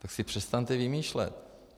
Tak si přestaňte vymýšlet!